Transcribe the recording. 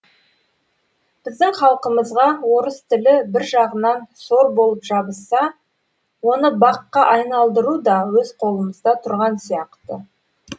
біздің халқымызға орыс тілі бір жағынан сор болып жабысса оны баққа айналдыру да өз қолымызда тұрған сияқты